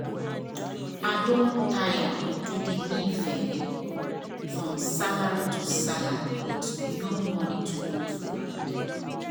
i don tire to dey live from salary to salary with no extra money to hold for hand.